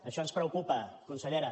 això ens preocupa consellera